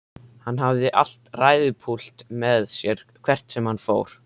Hann hafði alltaf ræðupúlt með sér hvert sem hann fór.